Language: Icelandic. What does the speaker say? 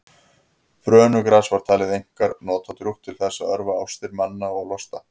brönugras var talið einkar notadrjúgt til þess að örva ástir manna og losta